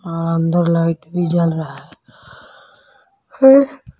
और अंदर लाइट भी जल रहा है --